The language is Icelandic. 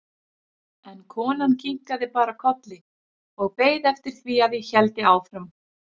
En konan kinkaði bara kolli og beið eftir því að ég héldi áfram.